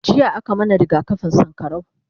jiya a ka mana rigakafin sankarau